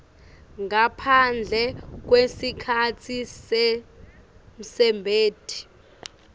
ngaphandle kwesikhatsi semsebenti